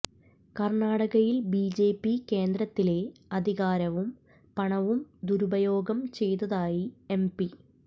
കർണാടകയിൽ ബിജെപി കേന്ദ്രത്തിലെ അധികാരവും പണവും ദുരുപയോഗം ചെയ്തതായി എംപി